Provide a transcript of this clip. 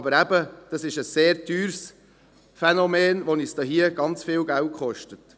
– Aber eben, dies ist ein sehr teures Phänomen, welches uns sehr viel Geld kostet.